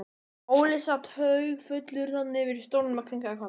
Óli sat haugfullur þarna yfir í stólnum og kinkaði kolli.